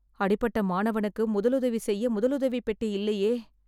அடிபட்ட மாணவனுக்கு முதல் உதவி செய்ய முதலுதவிப் பெட்டி இல்லையே